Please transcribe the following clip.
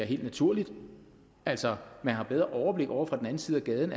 helt naturligt altså man har bedre overblik ovre fra den anden side af gaden